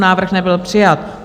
Návrh nebyl přijat.